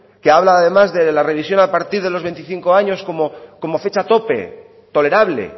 que habla además de la revisión a partir de los veinticinco años como fecha tope tolerable